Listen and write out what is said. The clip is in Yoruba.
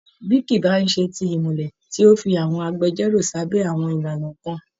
Bí kì í bá ṣe ti ìmùlẹ̀ tí ó fi àwọn agbẹjọ́rò sábẹ́ àwọn ìlànà kan